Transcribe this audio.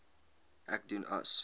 ek doen as